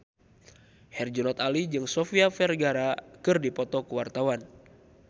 Herjunot Ali jeung Sofia Vergara keur dipoto ku wartawan